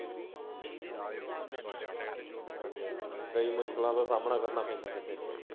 ਹਾਂਜੀ ਹਾਂਜੀ ਕਈ ਮੁਸ਼ਕਲਾ ਦਾ ਸਾਮਣਾ ਕਰਨਾ ਪੈਂਦਾ ਐ ਬੰਦੇ ਨੂੰ।